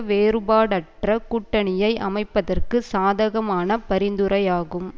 வேறுபாடற்ற கூட்டணியை அமைப்பதற்கு சாதகமான பரிந்துரையாகும்